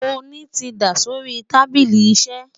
oni tí dá sórí tábìlì iṣé